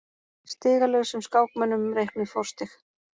Stigalausum skákmönnum reiknuð forstig.